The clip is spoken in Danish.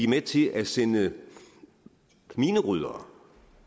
med til at sende mineryddere